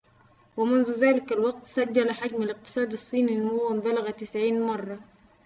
ومنذ ذلك الوقت سجّل حجم الاقتصاد الصيني نمواً بلغ 90 مرة